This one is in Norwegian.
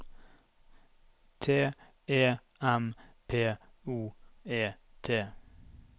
T E M P O E T